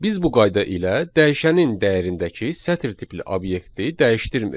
Biz bu qayda ilə dəyişənin dəyərindəki sətr tipli obyekti dəyişdirmirik.